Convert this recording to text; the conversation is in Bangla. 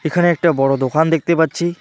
এখানে একটা বড়ো দোকান দেখতে পাচ্ছি।